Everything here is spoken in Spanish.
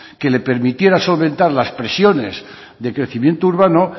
que le permitiera solventar las presiones de crecimiento urbano